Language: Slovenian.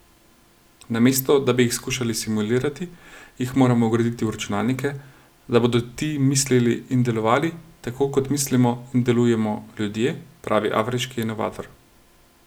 Namesto, da bi jih skušali simulirati, jih moramo vgraditi v računalnike, da bodo ti mislili in delovali, tako kot mislimo in delujemo ljudje, pravi afriški inovator.